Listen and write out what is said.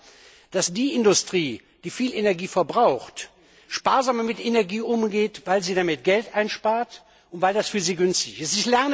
Ich lerne, dass die Industrie, die viel Energie verbraucht, sparsamer mit Energie umgeht, weil sie damit Geld spart und weil das für sie günstig ist.